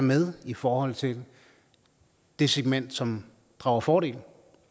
med i forhold til det segment som drager fordel